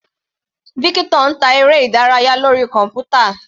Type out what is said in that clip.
Victor ń ta eré ìdárayá lórí kọ̀npútà.